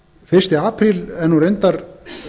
fyrsti apríl er nú reyndar